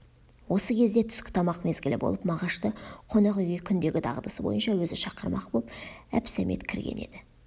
осы кезде түскі тамақ мезгілі болып мағашты қонақ үйге күндегі дағдысы бойынша өзі шақырмақ боп әбсәмет кірген еді